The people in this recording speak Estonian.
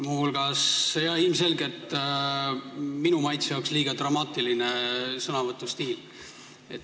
Ilmselgelt oli sõnavõtu stiil minu maitse jaoks liiga dramaatiline.